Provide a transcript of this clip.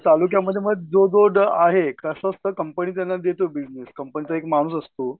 तालुक्यामध्ये मग जों बोर्ड आहे कसं असतं कंपनी त्यांना देते बिजनेस कंपनीचा एक माणूस असतो